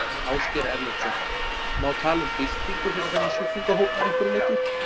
Ásgeir Erlendsson: Má tala um byltingu fyrir þennan sjúklingahóp að einhverju leyti?